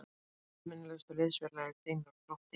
Hverjir eru eftirminnilegustu liðsfélagar þínir úr Þrótti?